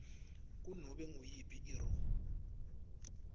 kunobe nguyiphi irro